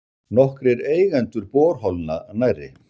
Nokkrir eigendur borholna nærri